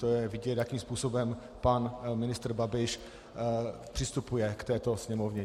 To je vidět, jakým způsobem pan ministr Babiš přistupuje k této Sněmovně.